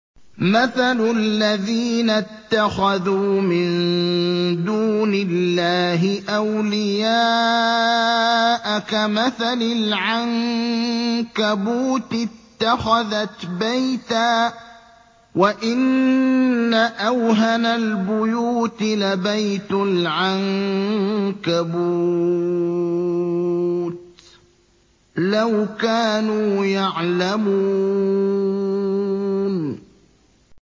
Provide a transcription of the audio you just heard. مَثَلُ الَّذِينَ اتَّخَذُوا مِن دُونِ اللَّهِ أَوْلِيَاءَ كَمَثَلِ الْعَنكَبُوتِ اتَّخَذَتْ بَيْتًا ۖ وَإِنَّ أَوْهَنَ الْبُيُوتِ لَبَيْتُ الْعَنكَبُوتِ ۖ لَوْ كَانُوا يَعْلَمُونَ